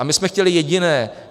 A my jsme chtěli jediné.